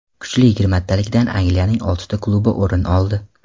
Kuchli yigirmatalikdan Angliyaning oltita klubi o‘rin oldi.